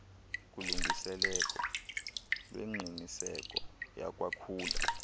kulungiseleko lwengqiniseko yakwakhula